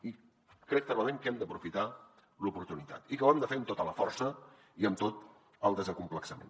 i crec fermament que hem d’aprofitar l’oportunitat i que ho hem de fer amb tota la força i amb tot el desacomplexament